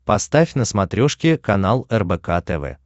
поставь на смотрешке канал рбк тв